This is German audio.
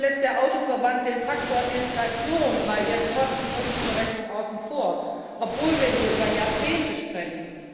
Warum lässt der Automobilverband den Faktor Inflation bei seinen Kosten Nutzen Berechnungen außen vor, obwohl wir hier über Jahrzehnte sprechen?